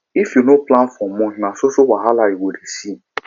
if you no plan for month na so so wahala you go dey see